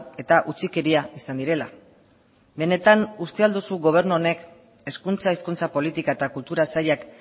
eta utzikeria izan direla benetan uste ahal duzu gobernu honek hezkuntza hizkuntza politika eta kultura sailak